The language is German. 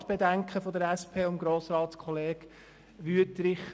Ich verstehe die Bedenken der SPJUSO-PSA-Fraktion und von Grossrat Wüthrich: